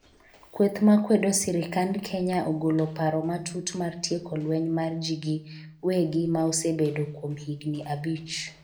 kweth makwedo sirikand Kenya ogolo paro matut mar tieko lweny mar ji gi wegi ma osebedo kuom higni abich